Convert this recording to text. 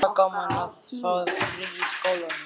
Helga: Gaman að fá frí í skólanum?